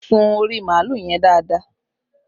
Sun orí màálù yẹn dáadáa!